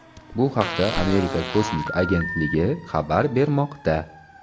Bu haqda Amerika kosmik agentligi xabar bermoqda.